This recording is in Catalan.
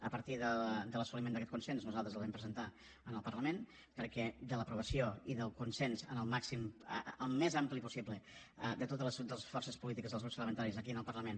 a partir de l’assoliment d’aquest consens nosaltres el vam presentar en el parlament perquè de l’aprovació i del consens al més ampli possible de totes les forces polítiques dels grups parlamentaris aquí en el parlament